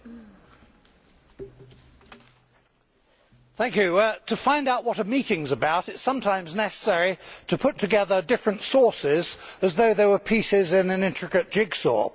Mr President, to find out what a meeting is about, it is sometimes necessary to put together different sources as though they were pieces in an intricate jigsaw.